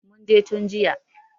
Mun je tun jiya.